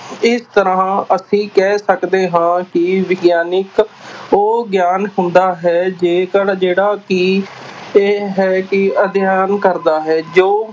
ਇਸ ਤਰ੍ਹਾਂ ਅਸੀਂ ਕਹਿ ਸਕਦੇ ਹਾਂ ਕਿ ਵਿਗਿਆਨਕ ਉਹ ਗਿਆਨ ਹੁੰਦਾ ਹੈ ਜੇਕਰ ਜਿਹੜਾ ਕਿ ਇਹ ਹੈ ਕਿ ਅਧਿਐਨ ਕਰਦਾ ਹੈ ਜੋ